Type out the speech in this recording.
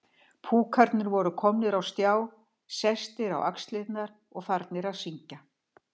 Púkarnir voru komnir á stjá, sestir á axlirnar og farnir að syngja.